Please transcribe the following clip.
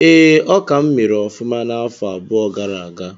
Ee, ọka m mere ọfụma n'afọ abụọ gara aga